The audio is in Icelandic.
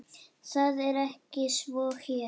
Það er ekki svo hér.